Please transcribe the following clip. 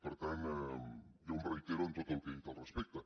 per tant jo em reitero en tot el que he dit al respecte